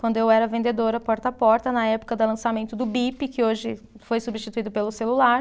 Quando eu era vendedora porta a porta, na época da lançamento do Bip, que hoje foi substituído pelo celular.